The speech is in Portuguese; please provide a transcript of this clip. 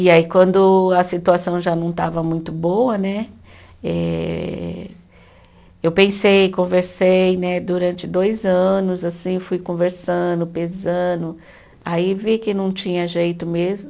E aí, quando a situação já não estava muito boa né, eh eu pensei, conversei né durante dois anos assim, fui conversando, pesando, aí vi que não tinha jeito mesmo.